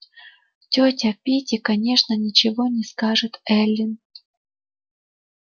тётя питти конечно ничего не скажет эллин